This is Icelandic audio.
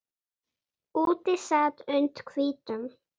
Úti sat und hvítum